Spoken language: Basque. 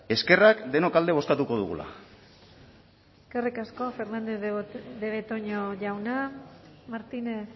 eskerrak denok alde bozkatuko dugula eskerrik asko fernandez de betoño jauna martínez